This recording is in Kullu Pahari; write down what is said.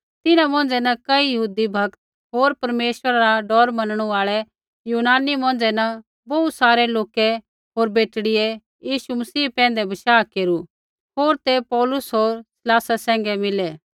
तिन्हां मौंझ़ै न कई यहूदी भक्त होर परमेश्वरा रा डौर मनणु आल़ै यूनानी मौंझ़ै न बोहू सारै लोकै होर बेटड़ियै यीशु मसीह पैंधै बशाह केरू होर ते पौलुस होर सीलासा सैंघै मिलै